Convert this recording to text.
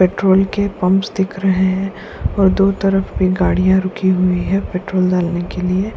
Petrol के pumps दिख रहे हैं और दो तरफ भी गाड़ियां रुकी हुई है पेट्रोल डालने के लिए।